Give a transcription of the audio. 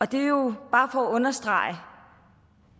det er jo bare for at understrege